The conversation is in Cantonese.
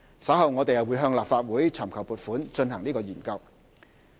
稍後我們會向立法會尋求撥款以進行研究。